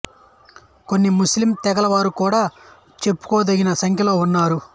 కొన్ని ముస్లిం తెగల వారు కూడా చెప్పుకోదగిన సంఖ్యలో ఉన్నారు